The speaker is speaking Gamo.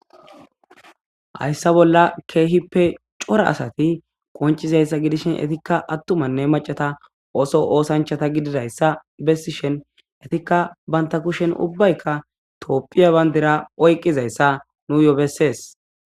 hayssa bolla keehippe cora asati qoncizayssa gidishin etikka attumanne macata ooso oosanchata gididayssa bessishen etikka banta kushen ubbaykka toopphiya bayndira oyqqizayssa nuyo bessees